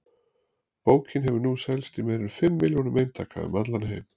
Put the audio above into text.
Bókin hefur nú selst í meira en fimm milljónum eintaka um allan heim.